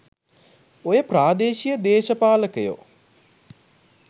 ඔය ප්‍රාදේශීය දේශපාලකයො